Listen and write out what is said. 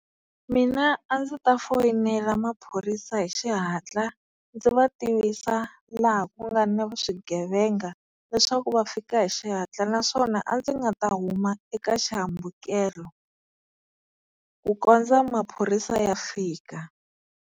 Mina a ndzi ta foyinela maphorisa hi xihatla ndzi va tivisa laha ku nga na swigevenga, leswaku va fika hi xihatla naswona a ndzi nga ta huma eka xihambukelo ku kondza maphorisa ya fika.